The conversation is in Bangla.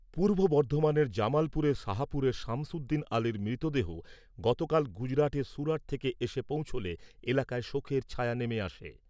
পূর্ব বর্ধমানের জামালপুরের সাহাপুরের সামসুদ্দিন আলির মৃতদেহ গতকাল গুজরাটের সুরাট থেকে এসে পৌঁছলে এলাকায় শোকের ছায়া নেমে আসে।